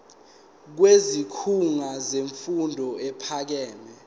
kwisikhungo semfundo ephakeme